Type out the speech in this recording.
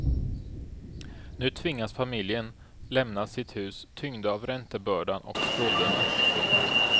Nu tvingas familjen lämna sitt hus tyngda av räntebördan och skulderna. punkt